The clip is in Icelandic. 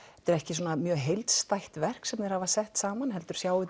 þetta er ekki mjög heildstætt verk sem þeir hafa sett saman heldur